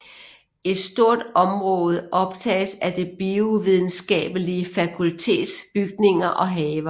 Et stort område optages af Det Biovidenskabelige Fakultets bygninger og haver